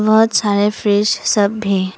बहुत सारे फ्रिज सब भी।